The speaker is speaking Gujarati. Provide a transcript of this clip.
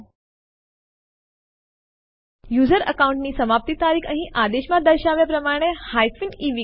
આ ટેસ્ટ1 નામવાળી ફાઈલ જે પહેલાથી જ હોમ ડિરેક્ટરી માં હાજર છે તેને ટેસ્ટ2 નામ સાથે બદલશે